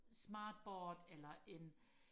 smartboard eller en